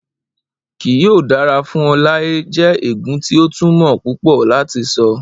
Kii yoo dara fun ọ lae jẹ eegun ti o tumọ pupọ lati sọ